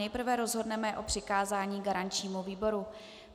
Nejprve rozhodneme o přikázání garančnímu výboru.